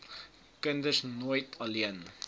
kinders nooit alleen